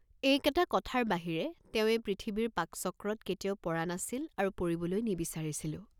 এই কেটা কথাৰ বাহিৰে তেওঁ এই পৃথিৱীৰ পাকচক্ৰত কেতিয়াও পৰা নাছিল আৰু পৰিবলৈ নিবিচাৰিছিলও।